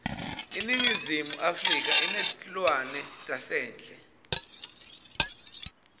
iningizimu afrika inetluanetasendle